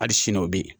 Hali sini o bɛ yen